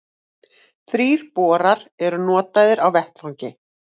Þrír borar eru notaðir á vettvangi